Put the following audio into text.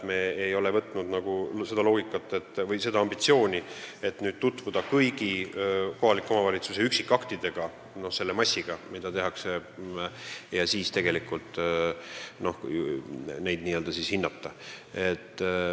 Ma ei eita seda, et meil ei ole ambitsiooni tutvuda kõigi kohaliku omavalitsuse üksikaktidega – arvestades, et neid on massiliselt – ja siis neid hinnata.